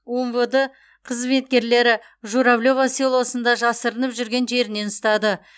умвд қызметкерлері журавлева селосында жасырынып жүрген жерінен ұстады